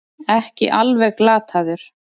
Ekki alveg glataður